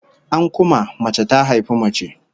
An kuma, mace ta haifi mace